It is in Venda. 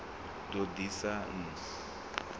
ḓ o ḓ isa n